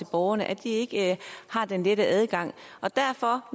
borgerne at de ikke har den lette adgang derfor